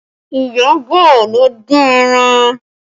Iyabọ̀ ló dín ẹran